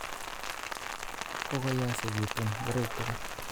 Kokoyosekitun ngoroik tugul